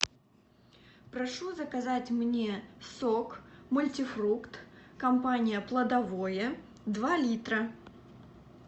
прошу заказать мне сок мультифрукт компания плодовое два литра